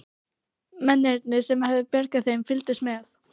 Mennirnir sem höfðu bjargað þeim fylgdust með.